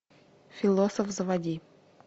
философ заводи